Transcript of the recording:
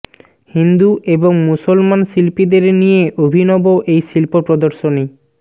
হিন্দু এবং মুসলমান শিল্পীদের নিয়ে অভিনব এই শিল্প প্রদর্শনী